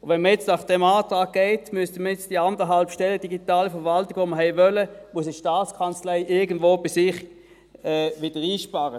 Wenn man nun nach diesem Antrag ginge, müsste die STA die 1,5 Stellen für die «digitale Verwaltung» irgendwo bei sich einsparen.